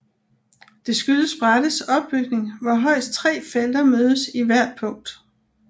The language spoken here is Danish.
Det skyldes brættets opbygning hvor højst tre felter mødes i hvert punkt